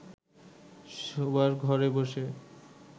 শোবার ঘরে বসে